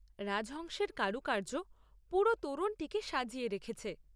রাজহংসের কারুকার্য পুরো তোরণটিকে সাজিয়ে রেখেছে।